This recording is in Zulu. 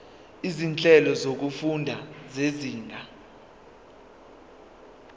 izinhlelo zokufunda zezinga